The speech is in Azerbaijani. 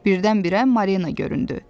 Birdən-birə Marina göründü.